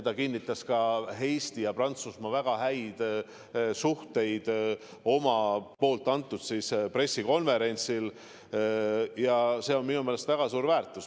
Ta kinnitas Eesti ja Prantsusmaa väga häid suhteid ka oma pressikonverentsil ja see on minu meelest väga suur väärtus.